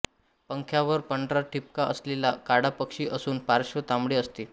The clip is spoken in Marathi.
पंखांवर पांढरा ठिपका असलेला काळा पक्षी असून पार्श्व तांबडे असते